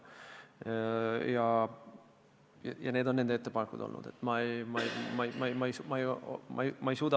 Need on nende ettepanekud, mis kooskõlastuse käigus tehtud.